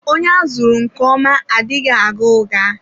Onye a zụrụ nke ọma adịghị agha ụgha.